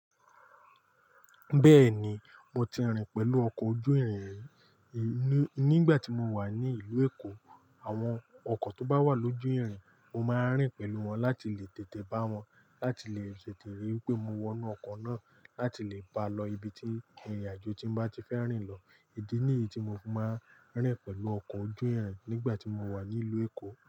Bẹ́ẹ̀ni, mo ti rìn pẹ̀lú ọkọ̀ ojú-ìrìn nígbà tí mo wà ní ìlú Èkó. Àwọn ọkọ̀ tó bá wà lójú ìrìn, mo máa rìn pẹ̀lú wọn láti lè tètè bá wọn, láti lè tètẹ̀rí pé mo wọ inú ọkọ̀ náà láti lè pa lọ ibi tí ìrìnàjò tí mo bá ti fẹ́ rìn lọ. Ìdí níyí tí mo fi máa ń rìn pẹ̀lú ọkọ̀ ojú-ìrìn nígbà tí mo wà ní ìlú Èkó.